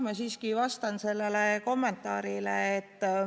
Ma siiski vastan sellele kommentaarile.